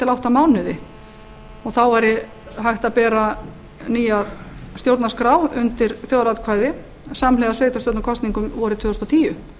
átta mánuði og þá væri hægt að bera nýja stjórnarskrá undir þjóðaratkvæði samhliða sveitarstjórnarkosningum vorið tvö þúsund og tíu